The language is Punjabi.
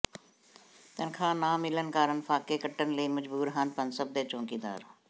ਤਨਖਾਹ ਨਾ ਮਿਲਣ ਕਾਰਨ ਫਾਕੇ ਕੱਟਣ ਲਈ ਮਜਬੂਰ ਹਨ ਪਨਸਪ ਦੇ ਚੌਕੀਦਾਰ